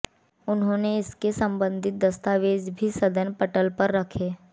उन्होंने इससे संबंधित दस्तावेज भी सदन पटल पर रखे